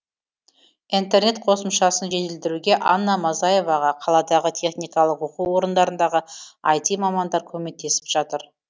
интернет қосымшасын жетілдіруге анна мазаеваға қаладағы техникалық оқу орындарындағы іт мамандар көмектесіп жатыр